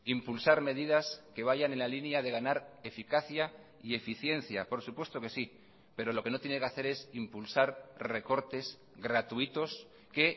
impulsar medidas que vayan en la línea de ganar eficacia y eficiencia por supuesto que sí pero lo que no tiene que hacer es impulsar recortes gratuitos que